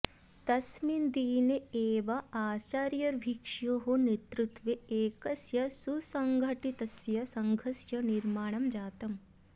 तस्मिन् दिने एव आचार्यभिक्षोः नेतृत्वे एकस्य सुसङ्घटितस्य सङ्घस्य निर्माणं जातम्